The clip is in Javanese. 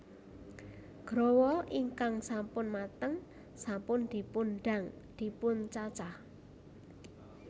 Growol ingkang sampun mateng sampun dipundang dipuncacah